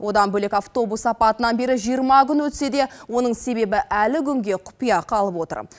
одан бөлек автобус апатынан бері жиырма күн өтсе де оның себебі әлі күнге құпия қалып отыр